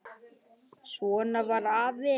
Svona var afi.